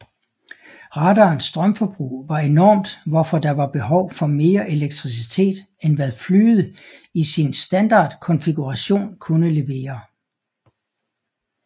Radarens strømforbrug var enormt hvorfor der var behov for mere elektricitet end hvad flyet i sin standardkonfiguration kunne levere